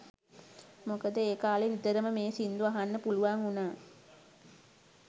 මොකද ඒ කා‍ලේ නිතරම මේ සිංදු අහන්න පුළුවන් උනා